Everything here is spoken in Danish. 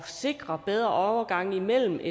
sikre bedre overgange imellem